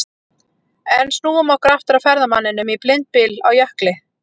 En snúum okkur aftur að ferðamanninum í blindbyl á jökli.